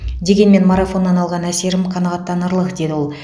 дегенмен марафоннан алған әсерім қанағаттанарлық деді ол